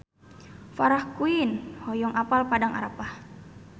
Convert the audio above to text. Farah Quinn hoyong apal Padang Arafah